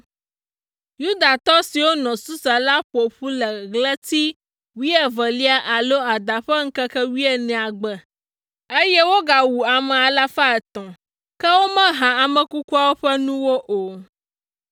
Yudatɔ siwo nɔ Susa la ƒo ƒu le ɣleti wuievelia alo Ada ƒe ŋkeke wuienea gbe, eye wogawu ame alafa etɔ̃ (300). Ke womeha ame kukuawo ƒe nuwo o.